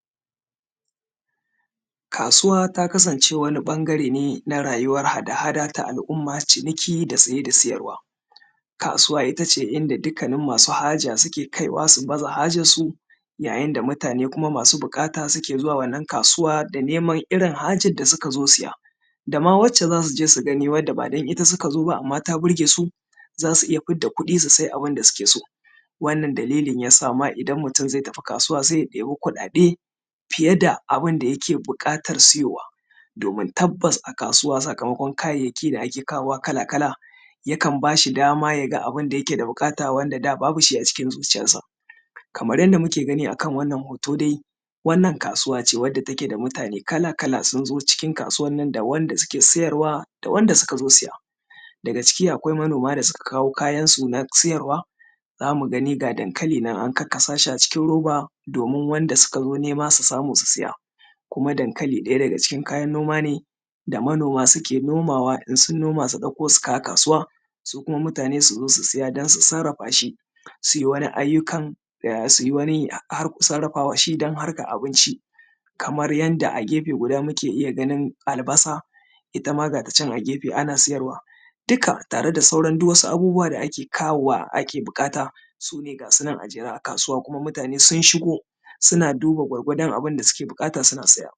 kasuwa ta kasance wani ɓangare ne na rayuwan haɗa-haɗa ta al’umma ciniki da siye da siyarwa kasuwa itace inda dukanin masu haja suke kaiwa su baza hajar su yayin da mutane masu bukata suke zuwa wannan kasuwa da neman irin hajar da suka zo siya da ma wacce zasu je su gani wanda ba ita suka zo ba amma ta ɓurge su zasu iya fidda kuɗi su sayi abin da suke so wannan dalilin yasa ma idan mutum zai tafi kasuwa sai ya ɗebi kuɗaɗe fiye da abun da yake buƙatar siyowa domin tabbas a kasuwa sakamaƙwan kayayyaki da ake kawowa kala-kala yakan bashi dama ya ga abun da yake buƙata wanda da babu shi a cikin zuciyarsa kamar yadda muke gani a kan wannan hoton dai wannan kasuwa ce wadda take da mutane kala-kala sun zo cikin kasuwan nan da wanda suke siyarwa da wanda suka zo siya daga ciki akwai manoma da suka kawo kayansu na siyarwa zamu gani ga dankali nan an karkasa shi a cikin roba domin wanda suka zo nema su samu su siya kuma dankali ɗaya daga cikin kayan noma ne da manoma suke nomawa idan sun noma su ɗauka su kawo kasuwa su kuma mutane su zo su siya don su sarafa shi su yi wani ayyukan su yi wani sarafa shi don harkar abinci kamar yadda a gefe guda muke iya ganin albasa ita ma ga ta can a gefe ana siyarwa dukka tare da sauran duk wasu sauran abubuwa da ake kawowa ake bukata sune ga sunan a jere a kasuwa kuma mutane sun shigo suna duba gwargwadon abin da suke bukata suna siya